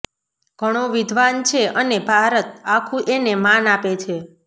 ઘણો વિદ્ધાન છે અને ભારત આખું એને માન આપે છે